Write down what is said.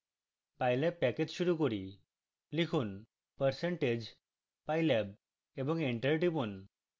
pylab package শুরু করি লিখুন percentage pylab এবং enter টিপুন